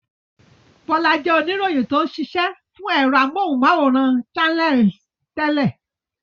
Bọ́lá jẹ́ oníròyìn tó ń ṣiṣẹ́ fún ẹ̀rọ amóhùmáwòhán Channels tẹ́lẹ̀.